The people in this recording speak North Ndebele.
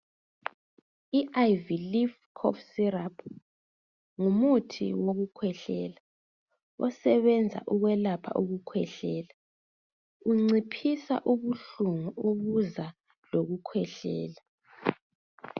I Ivy leaf cough syrup ngumuthi wokukhwehlela, osebenza ukwelapha ukukhwehlela, unciphisa ubuhlungu okuza lokukhwehlela.